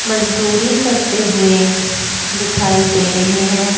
मजदूरी करते हुए दिखाई दे रहे हैं।